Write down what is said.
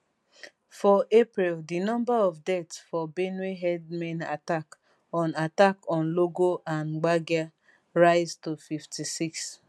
for april dinumber of death for benue herdsmen attack on attack on logo and gbagir rise to 56